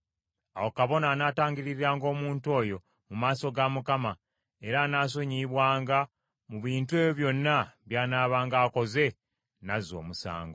Awo kabona anaatangiririranga omuntu oyo mu maaso ga Mukama , era anaasonyiyibwanga mu bintu ebyo byonna by’anaabanga akoze n’azza omusango.”